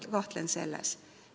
Ma kahtlen selles.